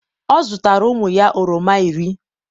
ọ zụtara ụmụ ya oroma iri